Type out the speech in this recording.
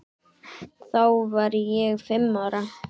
Þá var ég fimm ára.